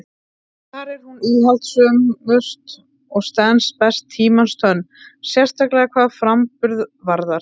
Þar er hún íhaldssömust og stenst best tímans tönn, sérstaklega hvað framburð varðar.